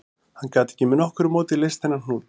Hann gat ekki með nokkru móti leyst þennan hnút